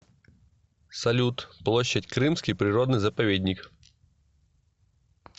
салют площадь крымский природный заповедник